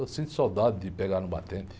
Eu sinto saudade de pegar no batente.